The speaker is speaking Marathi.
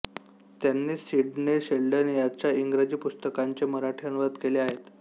त्यांनी सिडने शेल्डन याच्या इंग्रजी पुस्तकांचे मराठी अनुवाद केले आहेत